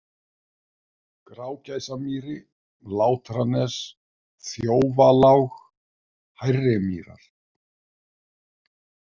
Grágæsamýri, Látranes, Þjófalág, Hærrimýrar